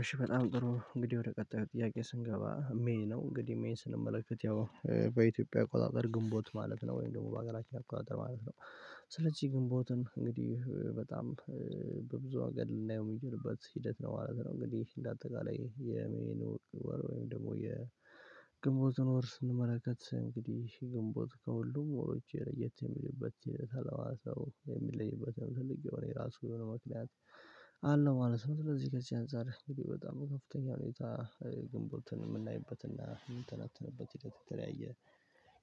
እሺ በጣም ጥሩ እንግዲህ ወደ ቀጣዩ ጥያቄ ስንገባ ሜይ ነው እንግዲህ ሜይን ስንመለከት ያው በኢትዮጵያ አቆጣጥር ግንቦት ማለት ነው ወይም ደግሞ በአገራችን አቆጣጥር ማለት ነው። ስለዚህ ግንቦትን እንግዲህ በጣም በብዙ አንግል ልናየው የምንችልበት ሂደት ነው ማለት ነው። እንግዲህ እንደ አጠቃላይ የሜይን ወር ወይም ደግሞ የግንቦትን ወር ስንመለከት እንግዲህ ግንቦት ከሁሉም ወሮች ለየት የሚሉበት የሚለይበትን ትልቅ የሆነ የራሱ የሆነ ምክንያት ስለዚህ ግንቦትን እንግዲህ በጣም በብዙ አንግል ልናየው የሚጀርበት ሂደት ነው ማለት ነው። እንግዲህ እንደ አጠቃላይ የመኖር ወር ወይም ደግሞ የግንቦትን ወር ስንመለከት እንግዲህ የግንቦት ከሁሉም ወሮች ለየት የሚልበት ሲል ተለዋዘው የሚለይበትን ትልቅ የሆነ የራሱ የሆነ መክለያት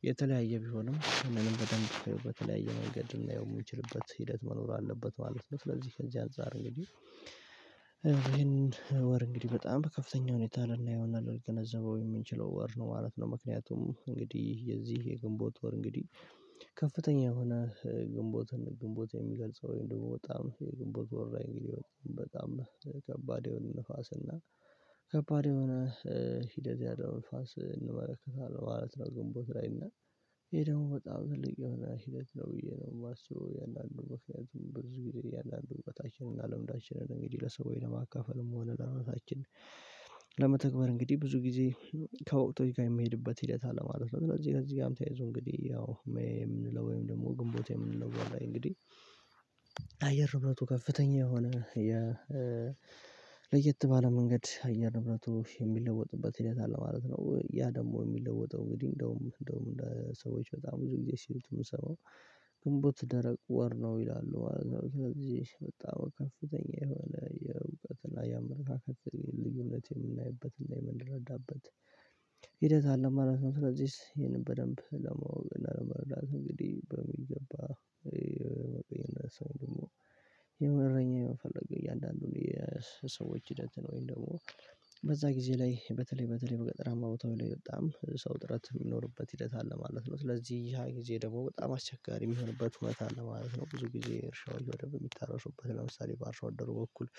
የተለያየ ቢሆንም እንደውም በደንብ በተለያየ መንገድ የሚችልበት ሂደት መኖር አለበት ማለት ነው። ስለዚህ ከዚያን ዛሬ እንግዲህ ይሄንን ወር እንግዲህ በጣም ከፍተኛ ሁኔታ ልናየውና ልገነዘበው የምንችለው ወር ነው ማለት ነው። ምክንያቱም እንግዲህ የዚህ የግንቦት ወር እንግዲህ ከፍተኛ የሆነ ግንቦትን ግንቦት የሚገልጸው ወይም ደግሞ በጣም ግንቦት ወር ላይ እንግዲህ በጣም ከባድ የሆነ ንፋስና እና ከባድ የሆነ ሂደት ያለው ንፋስ እንመለከታለን ማለት ነው። ግንቦት ላይ እና ይሄ ደግሞ በጣም ትልቅ የሆነ ሂደት ነው ብዬ ነው የማስበው። የአንዳንዱ ምክንያቱም ብዙ ጊዜ የአንዳንዱ ቦታችንን ልምዳችንን እንግዲህ ለሰው ለማካፈልም ሆነ ለእውነታችን ለመተግበር እንግዲህ ብዙ ጊዜ ከወቅቶች ጋር የምንሄድበት ሂደት አለ ማለት ነው። ስለዚህ ከዚህ ጋርም ተያይዞ እንግዲህ ያው ሜይ የምንለው ወይም ደግሞ ግንቦት የምንለው እንግዲህ አየር ንብረቱ ከፍተኛ የሆነ ለየት ባለ መንገድ አየር ንብረቱ የሚለወጥበት ሂደት አለ ማለት ነው። ያ ደግሞ የሚለወጠው እንግዲህ እንደውም እንደውም ሰዎች በጣም ብዙ ጊዜ ሲሉት ምሰማው ግንቦት ደረቅ ወር ነው ይላሉ ማለት ነው። ከዚህ በጣም ከፍተኛ የሆነ የእውቀትና የአመለካከት ልዩነት የምናይበትና የምንረዳበት አለ ማለት ነው። ስለዚህ ይሄንን በደንብ ለማወቅና ለመረዳት እንግዲህ በሚገባ ሰው ደግሞ የእረኛ የመፈለግ እያንዳንዱን የሰዎች ሂደት ነው። ወይም ደግሞ በዛ ጊዜ ላይ በተለይ በተለይ በገጠራማ ቦታዎች ላይ በጣም ሰው ጥረት የሚኖርበት ሂደት አለ ማለት ነው። ስለዚህ ያ ጊዜ ደግሞ በጣም አስቸጋሪ የሚሆንበት እውነት አለ ማለት ነው። ብዙ ጊዜ እርሻዎች ወዲያ የሚታረሱበት ለምሳሌ በአርሶ አደሩ በኩል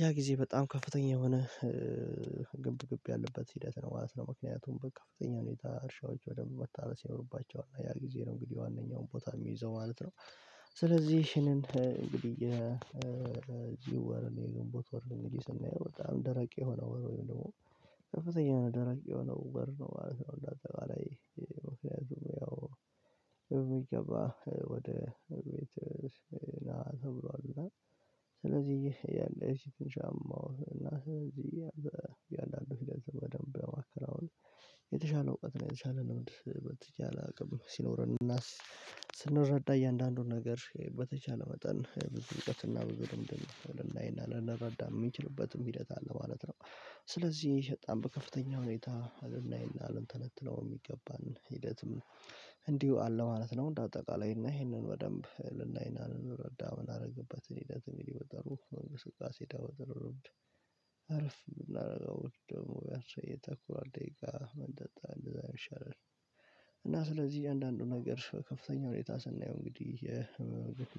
ያ ጊዜ በጣም ከፍተኛ የሆነ ግብ ግብ ያለበት ሂደት ነው ማለት ነው። ምክንያቱም በከፍተኛ ሁኔታ እርሻዎች በደንብ መታረስ ይኖርባቸዋል ያ ጊዜ ነው እንግዲህ ዋናውን ቦታ የሚይዘው ማለት ነው። ስለዚህ ይሄንን እንግዲህ የዚህ ወር የግንቦት ወር እንግዲህ ስናየው በጣም ደረቅ የሆነው ወር ወይም ደግሞ ከፍተኛ ደራቂ የሆነው ወር ነው ማለት ነው። እንዳተባለው ያው የሚገባ ወደ ቤተሰብ ተብሏል እና ከላይ ያለው ድምጽ ምንም አይነት መልእክት የለውም። የተሻለ እውቀት ነው የተሻለ ልምድ በተቻለ አቅም ሲኖረን ስንረዳ እያንዳንዱን ነገር በተቻለ መጠን ብዙ እውቀትና ብዙ ልምድን ልናይና ልንረዳ የምንችልበትም ሂደት አለ ማለት ነው። ስለዚህ በጣም በከፍተኛ ሁኔታ ልናይና ልንተነትነው የሚገባን ሂደትም እንዲሁ አለ ማለት ነው። እንደ አጠቃላይ እና ይሄንን በደንብ ልናይና ልንረዳ ምን አደረገበት ሂደት በጠሩ ብዙ መንገድ ስቃሴ ዳውር አረብ አረፍ የምናደርገው ደግሞ ያሰየ ተኩሏል ደቂቃ መንጠጣ እንደዛ ይሻላል። እና ስለዚህ አንዳንዱ ነገር ከፍተኛ ሁኔታ ስናየው እንግዲህ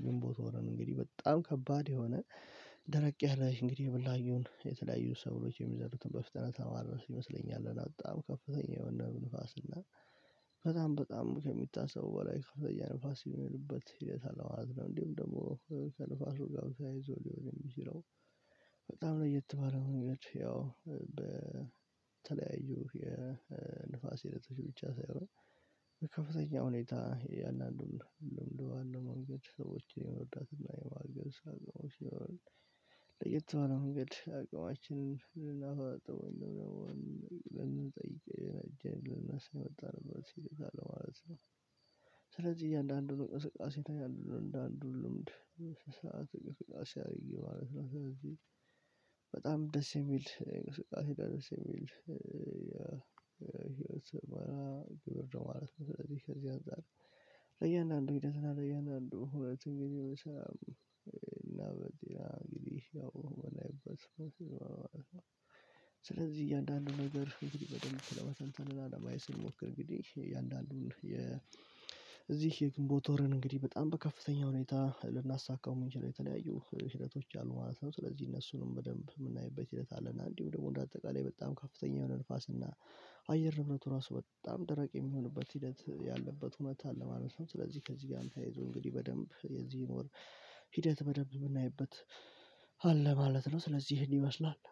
ግንቦት ወርን እንግዲህ በጣም ከባድ የሆነ ደረቅ ያለ እንግዲህ የበላዩን የተለያዩ ሰዎች የሚዘሩትን በፍጥነት ለማረስ ይመስለኛል በጣም ከፍተኛ የሆነ ንፋስና በጣም በጣም ከሚታሰበው በላይ ከፍተኛ ንፋስ የሚሄድበት ሂደት አለ ማለት ነው። እንዲሁም ደግሞ ከንፋሱ ጋር ተያይዞ ሊሆን የሚችለው በጣም ለየት ባለ መንገድ ያው በተለያዩ የንፋስ ሂደቶች ብቻ ሳይሆን በከፍተኛ ሁኔታ የእያንዳንዱን ልምድ በማለማመድ ሰዎችን የመርዳትና የማገዝ አቅም ሲሆን ለየት ባለ መንገድ አቅማችንን ነው ልንጠይቅ ልናነሳ የመጣንበት ሲል አለው ማለት ነው። ስለዚህ እያንዳንዱን እንቅስቃሴ ያለው እንደ አንዱ ልምድ ሰዓት ቅስቀሳ ያለው ማለት ነው። ስለዚህ በጣም ደስ የሚል እንቅስቃሴ ደስ የሚል ህይወት ስምህርት ነው ማለት ነው። ከዚህ ከዚህ አንፃር ለእያንዳንዱ ህይወት እና ለእያንዳንዱ ሁለት እንግዲህ በሻም እና በዲራ እንግዲህ ያው የምናይበት ስለዚህ እያንዳንዱ ነገር እንግዲህ በደንብ ለማሰልጠንና ለማየት ስንሞክር እንግዲህ እያንዳንዱን የግንቦት ወርን እንግዲህ በጣም በከፍተኛ ሁኔታ ልናሳካው ምንችለው ላይ የተለያዩ ሂደቶች አሉ ማለት ነው። ስለዚህ እነሱንም በደንብ የምናይበት ሂደት አለና እንዲሁ ደግሞ እንደ አጠቃላይ በጣም ከፍተኛ የሆነ ንፋስ እና አየር ንብረቱ ራሱ በጣም ደረቅ የሚሆንበት ሂደት ያለበት እውነት አለ ማለት ነው። ስለዚህ ከዚህ ጋር እንዳይዞ እንግዲህ በደንብ የዚህን ወር ሂደት በደንብ የምናይበት አለ ማለት ነው። ስለዚህ ይህን ይመስላል